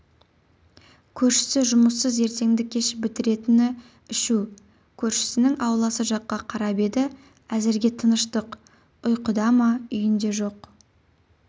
көршісі жұмыссыз ертеңді-кеш бітіретіні ішу көршісінің ауласы жаққа қарап еді әзірге тыныштық ұйқыда ма үйінде жоқ